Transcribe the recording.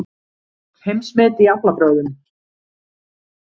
Heimsmet í aflabrögðum